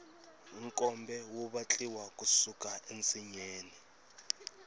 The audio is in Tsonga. nkombe wu vatliwa ku suka ensinyeni